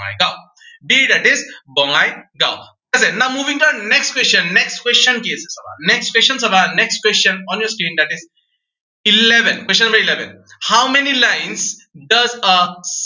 Bongaigaon, b that is Bongaigaon. ঠিক আছে now moving to our next question, next question কি আছে চাবা। next question চাবা, next question honestly, that is eleven, question number eleven. how many lines the